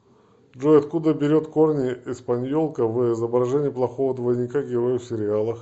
джой откуда берет корни эспаньолка в изображении плохого двойника героя в сериалах